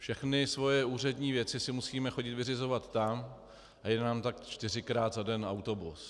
Všechny svoje úřední věci si musíme chodit vyřizovat tam a jede nám tak čtyřikrát za den autobus.